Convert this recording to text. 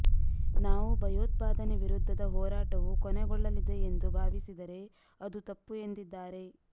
ನಾವು ಭಯೋತ್ಪಾದನೆ ವಿರುದ್ಧದ ಹೋರಾಟವು ಕೊನೆಗೊಳ್ಳಲಿದೆ ಎಂದು ಭಾವಿಸಿದರೆ ಅದು ತಪ್ಪು ಎಂದಿದ್ದಾರೆ